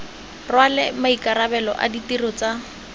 rwale maikarabelo a ditiro tsa